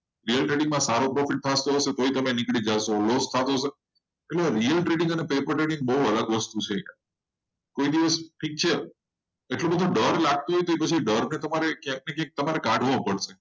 real trading માં સારો score છે. real trading અને paper trading બહુ અલગ વસ્તુ છે. કોઈ દિવસ ઠીક છે એક પોઈન્ટ પાચ લાખ છે તો તમારે દોઢ લાખ ક્યાંથી કાઢવો પડે.